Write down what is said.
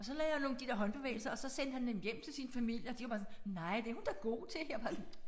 Og så lavede jeg nogle de der håndbevægelser og så sendte han dem hjem til sin familie og de var bare sådan nej det er hun da god til jeg er bare sådan